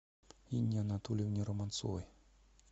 инне анатольевне романцовой